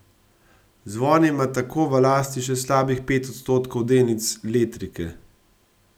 Zvon ima tako v lasti še slabih pet odstotkov delnic Letrike.